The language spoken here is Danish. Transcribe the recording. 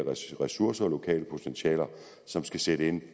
ressourcer og de lokale potentialer som skal sætte ind